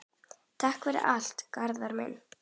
Takk fyrir allt, Garðar minn.